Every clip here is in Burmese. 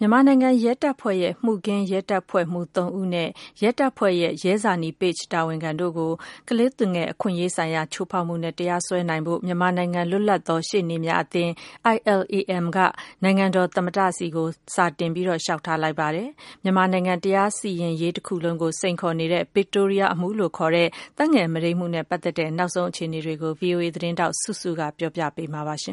မြန်မာနိုင်ငံရဲတပ်ဖွဲ့ရဲ့ မှုခင်းရဲတပ်ဖွဲ့မှူးသုံးဦးနဲ့ ရဲတပ်ဖွဲ့ရဲ့ ရဲဇာနည် page တာဝန်ခံတို့ကို ကလေးသူငယ် အခွင့်ရေးဆိုင်ရာ ချိုးဖေါက်မှုနဲ့ တရားစွဲဆိုနိုင်ဖို့ မြန်မာနိုင်ငံ လွတ်လပ်သော ရှေ့နေများအသင်း က နိုင်ငံတော်သမ္မတထံ စာတင် လျှောက်ထားလိုက်ပါတယ်။ မြန်မာနိုင်ငံတရားစီရင်ရေး တခုလုံးကို စိန်ခေါ်နေတဲ့ Victoria အမှုလို့ ခေါ်တဲ့သက်ငယ် မုဒိမ်းမှုနဲ့ ပတ်သက်တဲ့ နောက်ဆုံး အခြေနေကို ဗွီအိုအေသတင်းထောက် စုစု က တင်ပြပေးမှာပါ။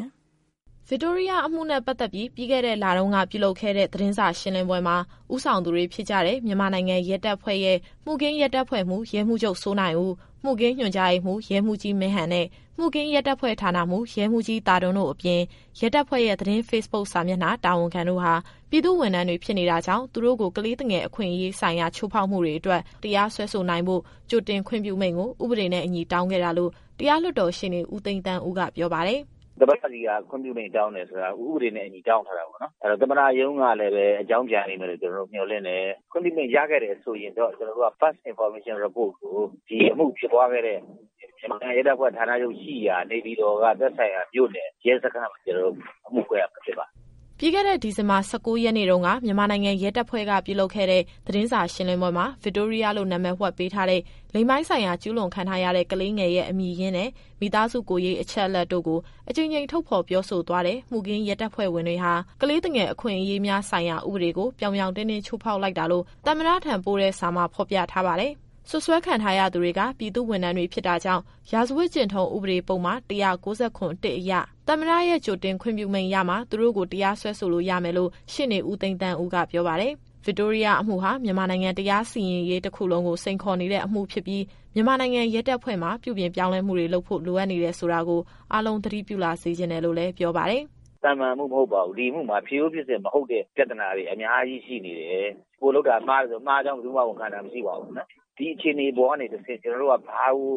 ဗစ်တိုးရီးယားအမှုနဲ့ ပတ်သက်ပြီး ပြီးခဲ့တဲ့ လတုန်းက ပြုလုပ်ခဲ့တဲ့ သတင်းစာရှင်းလင်းပွဲမှာ ဦးဆောင်သူတွေဖြစ်ကြတဲ့ မြန်မာနိုင်ငံ ရဲတပ်ဖွဲ့ရဲ့ မှုခင်းရဲတပ်ဖွဲ့မှူး ရဲမှူးချုပ် စိုးနိုင်ဦး၊ မှုခင်းညွှန်ကြားရေးမှူး ရဲမှူးကြီးမင်းဟန်နဲ့ မှုခင်းရဲတပ်ဖွဲ့ဌာနမှူး ရဲမှူးကြီးသာဒွန်း အပြင် ရဲတပ်ဖွဲ့ရဲ့ သတင်း ဖေ့ဘုတ်စာမျက်နှာ တာဝန်ခံတို့ဟာ ပြည်သူ့ဝန်ထမ်း တွေ ဖြစ်နေတာကြောင့် သူတို့ကို ကလေးသူငယ် အခွင့်ရေး ဆိုင်ရာ ချိုးဖောက်မှုတွေ အတွက် တရားစွဲဆိုနိုင်ဖို့ ကြိုတင် ခွင့်ပြုမိန်ကို ဥပဒေနဲ့အညီ့တောင်းခဲ့တာလို့ တရားလွှတ်တော်ရှေ့နေ ဦးသိန်းသန်းဦးက ပြောပါတယ်။ “သမ္မတဆီက ခွင့်ပြုမိန့်တောင်းတယ်ဆိုတာ ဥပဒေနဲ့အညီ တောင်းထားတာပေါ့နော်။ အဲတော့ သမ္မတရုံးကလည်းပဲ အကြောင်းပြန်လိမ့်မယ်လို့ ကျတော်တို့မျှော်လင့်တယ်။ ခွင့်ပြုမိန့် ရခဲ့တယ်ဆိုရင်တော့ ကျနော်တို့က First Information Report ကို ဒီအမှုဖြစ်ပွားခဲ့တဲ့ မြန်မာနိုင်ငံရဲတပ်ဖွဲ့ ဌာနချုပ်ရှိရာ နေပြည်တော်က သက်ဆိုင်ရာမြို့နယ် ရဲစခန်းမှာ ကျနော်တို့အမှုဖွင့်ရမှာ ဖြစ်ပါတယ်။” ပြီးခဲ့တဲ့နှစ် ဒီဇင်ဘာ ၁၉ရက်နေ့တုန်းက မြန်မာနိုင်ငံရဲတပ်ဖွဲ့ကပြုလုပ်ခဲ့တဲ့ သတင်းစာရှင်းလင်းပွဲမှာ ဗစ်တိုးရီးယားလို့ နာမည်ဝှက်ပေးထားတဲ့ လိင်ပိုင်းဆိုင်ရာကျူးလွန်ခံထားရတဲ့ ကလေးငယ်ရဲ့အမည်ရင်းနဲ့ မိသားစုကိုယ်ရေးအချက်အလက်တို့ကို အကြိမ်ကြိမ်ထုတ်ဖော် ပြောဆိုသွားတဲ့ မှုခင်းရဲတပ်ဖွဲ့ဝင်တွေဟာ ကလေးသူငယ်အခွင့်အရေးများဆိုင်ရာ ဥပဒေကို ပြောင်ပြောင်တင်းတင်း ချိုးဖောက်လိုက်တာလို့ သမ္မတထံပို့တဲ့စာမှာ ဖော်ပြထားပါတယ်။ စွပ်စွဲခံထားရသူတွေက ပြည်သူ့ဝန်ထမ်းတွေ ဖြစ်တာကြောင့် ရာဇဝတ်ကျင့်ထုံးဥပဒေ ပုဒ်မ ၁၉၇ အရ သမ္မတရဲ့ကြိုတင်ခွင့်ပြုမိန့်ရမှ သူတို့ကိုတရားစွဲလို့ရမယ်လို့ ရှေ့နေဦးသိန်းသန်းဦးကပြောပါတယ်။ ဗစ်တိုးရီးယားအမှုဟာ မြန်မာနိုင်ငံတရားစီရင်ရေး တခုလုံးကို စိန်ခေါ်နေတဲ့အမှု ဖြစ်ပြီး မြန်မာနိုင်ငံ ရဲတပ်ဖွဲ့ မှာ ပြုပြင်ပြောင်းလဲမှုတွေ လုပ်ဖို့ လိုအပ်နေတယ် ဆိုတာကို အားလုံး သတိပြု လာစေချင်တယ် လို့လည်း ပြောပါတယ်။ “သာမန်အမှုမဟုတ်ပါဘူး။ ဒီအမှုမှာဖြစ်ရိုးဖြစ်စဉ် မဟုတ်တဲ့ ပြဿနာတွေ အများကြီးရှိနေတယ်။ ကိုယ်လုပ်တာမှားတယ်ဆို မှားကြောင်း ဘယ်သူမှ ဝန်ခံတာမရှိဘူး။ ဒီအခြေအနေကနေတဆင့် ကျနော်တို့က ဘာကို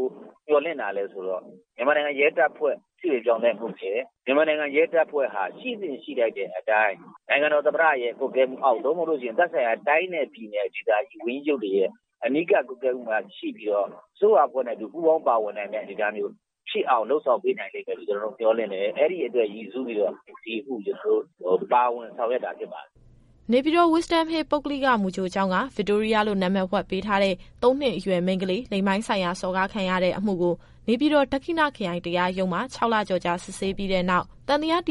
မျှော်လင့်တာလည်းဆိုတော့ မြန်မာနိုင်ငံရဲတပ်ဖွဲ့ ပြုပြင်ပြောင်းလဲမှုနဲ့ မြန်မာနိုင်ငံရဲတပ်ဖွဲ့ဟာ ရှိသင့်ရှိထိုက်တဲ့အတိုင်း နိုင်ငံတော်သမ္မတရဲ့ ကွပ်ကဲမှုအောက် သို့မဟုတ်လို့ရှိရင် သက်ဆိုင်ရာ တိုင်းနဲ့ပြည်နယ်ဒေသကြီး ဝန်ကြီးချုပ်တွေရဲ့ အနီးကပ်ကွပ်ကဲမှုမှာ ရှိပြီးတော့ အစိုးရအဖွဲ့နဲ့အတူ ပူးပေါင်းပါဝင်နိုင်တဲ့ အနေအထားမျိုး ဖြစ်အောင် လုပ်ဆောင်ပေးနိုင်လိမ့်မယ်လို့ မျှော်လင့်တယ်။ အဲဒီအတွက်ရည်စူးပြီးတော့ ဒီအမှုကို ကျနော်တို့ပါဝင် ဆောင်ရွက်တာဖြစ်ပါတယ်။” နေပြည်တော် Wisdom Hill ပုဂ္ဂလိက မူကြိုကျောင်းက ဗစ်တိုးရီးယားလို့ နာမည်ဝှက်ပေးထားတဲ့ သုံးနှစ်အရွယ်မိန်းကလေး လိင်ပိုင်းဆိုင်ရာစော်ကားခံရတဲ့အမှုကို နေပြည်တော် ဒက္ခိဏခရိုင် တရားရုံးမှာ ခြောက်လကျော်ကြာ စစ်ဆေးပြီးတဲ့နောက် သံသယတရား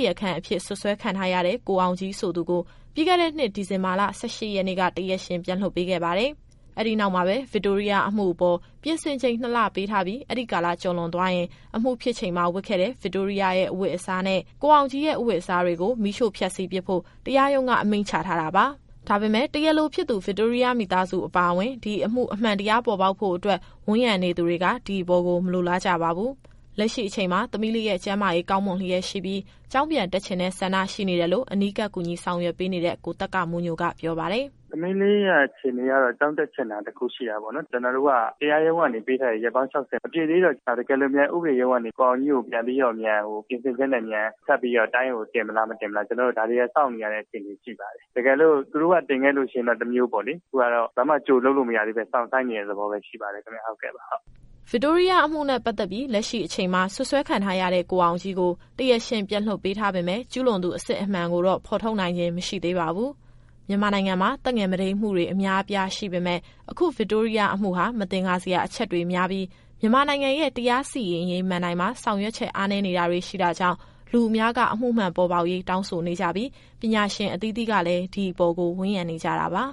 အဖြစ် စွပ်စွဲခံထားရတဲ့ ကိုအောင်ကြီးဆိုသူကို ပြီးခဲ့တဲ့နှစ် ဒီဇင်ဘာလ ၁၈ရက်နေ့က တရားရှင်ပြန်လွှတ်ပေးခဲ့ပါတယ်။ အဲဒီနောက်မှာပဲ ဗစ်တိုးရီးယားအမှုအပေါ် ပြင်ဆင်ချိန် ၂လပေးထားပြီး အဲဒီကာလကျော်သွားရင် အမှုဖြစ်ချိန်မှာ ဝတ်ခဲ့တဲ့ ဗစ်တိုးရီးယားရဲ့အဝတ်အစားနဲ့ ကိုအောင်ကြီးရဲ့အဝတ်အစားတွေကို မီးရှို့ဖျက်စီးပစ်ဖို့ တရားရုံးက အမိန့်ချထားတာပါ။ ဒါပေမယ့် တရားလိုဖြစ်သူ ဗစ်တိုးရီးယားမိသားစုအပါအဝင် ဒီအမှုအမှန်တရား ပေါ်ပေါက်ဖို့အတွက် ဝန်းရံနေသူတွေက ဒီအပေါ်ကို မလိုလားကြပါဘူး။ လက်ရှိအချိန်မှာ သမီးလေးရဲ့ ကျန်းမာရေးကောင်းမွန်လျက်ရှိပြီး ကျောင်းပြန်တက်ချင်တဲ့ ဆန္ဒရှိနေတယ်လို့ အနီးကပ် ကူညီဆောင်ရွက်ပေးနေတဲ့ ကိုသက္ကမိုးညိုက ပြောပါတယ်။ “သမီးလေးရဲ့အခြေအနေကတော့ ကျောင်းတက်ချင်တာ တခုရှိတာပေါ့နော်။ ကျနော်တို့က တရားရုံးကနေပေးထားတဲ့ ရက်ပေါင်း ၆၀ မပြည့်သေးတော့ တကယ်လို့များ ဥပဒေရုံးကနေပြီးတော့ ကိုအောင်ကြီးကို ပြန်ပြီးတော့ ပြင်ဆင်ချက်နဲ့ဆက်ပြီးတော့ တိုင်းကိုတင်မလား၊ မတင်ဘူးလား။ ဒါတွေကို စောင့်နေရတဲ့အခြေအနေ ရှိပါတယ်။ တကယ်လို့ သူတို့ကတင်ခဲ့လို့ရှိရင်တော့ တမျိုးပေါ့လေ။ ခုကတော့ ဘာမှကြိုလုပ်လို့ မရသေးဘဲ စောင့်ဆိုင်းနေရတဲ့သဘောပဲ ရှိပါသေးတယ်ခင်ဗျ။” ဗစ်တိုးရီးယားအမှုနဲ့ ပတ်သက်ပြီး လက်ရှိအချိန်မှာ စွပ်စွဲခံထားရတဲ့ ကိုအောင်ကြီးကို တရားရှင်ပြန်လွှတ်ပေးထားပေမယ့် ကျူးလွန်သူအစစ်အမှန်ကိုတော့ ဖော်ထုတ်နိုင်ခြင်း မရှိသေးပါဘူး။ မြန်မာနိုင်ငံမှာ သက်ငယ်မုဒိမ်းမှုတွေ အများအပြားရှိပေမယ့် အခုဗစ်တိုးရီးယားအမှုဟာ မသင်္ကာစရာအချက်တွေများပြီး မြန်မာနိုင်ငံရဲ့ တရားစီရင်ရေးမဏ္ဍိုင်မှာ ဆောင်ရွက်ချက် အားနည်းနေတာတွေ ရှိတာကြောင့် လူအများက အမှုမှန်ပေါ်ပေါက်ရေး တောင်းဆိုနေကြပြီး ပညာရှင်အသီးသီးကလည်း ဒီအပေါ်ကို ဝန်းရံနေကြတာပါ။